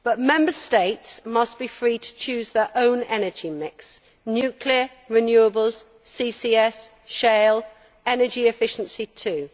Member States must be free to choose their own energy mix nuclear, renewables, CCS, shale and energy efficiency too.